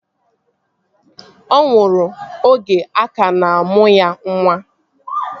Ọ nwụrụ oge a ka na-amụ ya nwa